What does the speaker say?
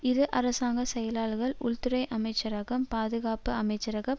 இரு அரசாங்க செயலர்கள் உள்துறை அமைச்சரகம் பாதுகாப்பு அமைச்சரகம்